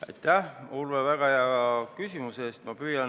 Aitäh, Urve, väga hea küsimuse eest!